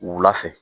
Wula fɛ